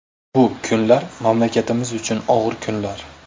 Bu kunlar mamlakatimiz uchun og‘ir kunlar.